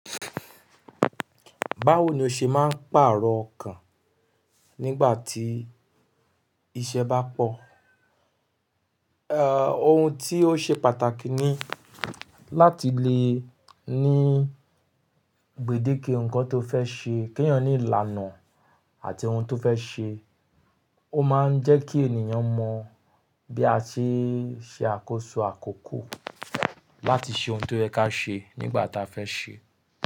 Báwo ni o ṣe máa ń pàrọ̀ ọkàn nígbà tí iṣẹ́ bá pọ̀? Ẹ̀, ohun tí ó ṣe pàtàkì ni láti lè ní gbèdeke nǹkan tó fẹ́ ṣe, kí èèyàn le lànà àti ohun tó fẹ́ ṣe. Ó máa ń jẹ́ kí ènìyàn mọ bí a ṣe ṣe àkóso àkókò láti ṣe ohun tó yẹ kí á ṣe nígbà táa fẹ́ ṣe.